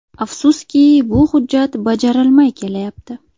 Afsuski, bu hujjat bajarilmay kelayapti.